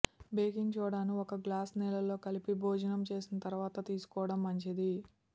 baking సోడాను ఒక glass నీళ్ళలో కలిపి భోజనం చేసిన తర్వాత తీసుకోవడం మంచిది